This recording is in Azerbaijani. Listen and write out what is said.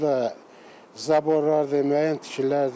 Burda zaborlardır, müəyyən tikililərdir.